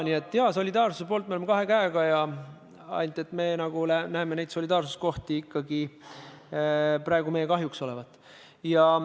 Nii et jaa, solidaarsuse poolt me oleme kahe käega, ainult me näeme neid solidaarsuskohti olevat praegu ikkagi meie kahjuks.